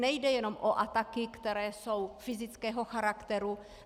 Nejde jenom o ataky, které jsou fyzického charakteru.